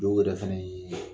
Dɔw yɛrɛ fɛnɛ ye